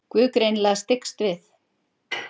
Guð greinilega styggst við.